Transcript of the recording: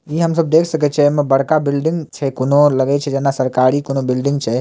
इ हम सब देख सकय छै एमा बड़का बिल्डिंग छै कोनो लगए छै जेना सरकारी कोनो बिल्डिंग छै।